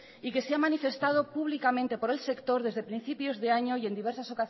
y que se ha manifestado públicamente por el sector desde principios de año y en diversas